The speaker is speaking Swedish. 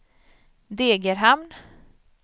Degerhamn